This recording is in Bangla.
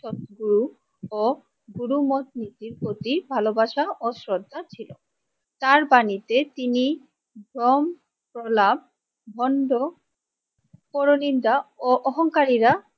সত্য ও গুরুমত নীতি প্রতি ভালোবাসা ও শ্রদ্ধা ছিল তার বাণীতে তিনি ভ্রম কলা ভন্ড পরনিন্দা ও অহংকারীরা